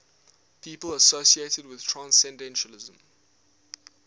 people associated with transcendentalism